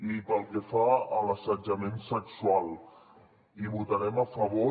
i pel que fa a l’assetjament sexual hi votarem a favor